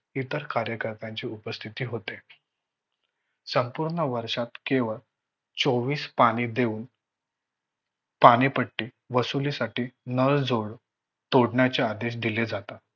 इतर कार्यकर्त्यांची उपस्थिती होती. संपूर्ण वर्षात केवळ चोवीस पाने देऊन पानेपट्टी वसुली साठी नळजोड तोडण्याचे आदेश दिले जातात